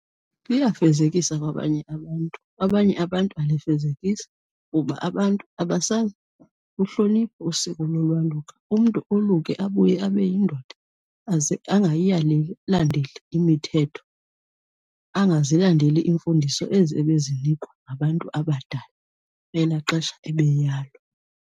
Liyayifezekisa kwabanye abantu, abanye abantu alifezekisi kuba abantu abasaluhloniphi usiko lolwaluka. Umntu oluke abuye abe yindoda aze angayiyaleli imithetho, angazilandeli iimfundiso ezi ebezinikwa ngabantu abadala elaa xesha ebeyalwa.